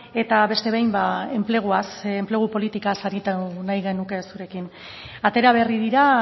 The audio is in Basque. eta beste behin enpleguaz enplegu politikaz aritu nahi genuke zurekin atera berri dira